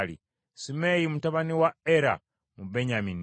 Simeeyi mutabani wa Era, mu Benyamini;